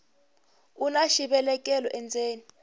una xivelekelo endzeni